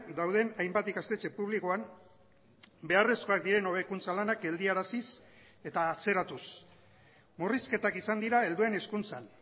dauden hainbat ikastetxe publikoan beharrezkoak diren hobekuntza lanak geldiaraziz eta atzeratuz murrizketak izan dira helduen hezkuntzan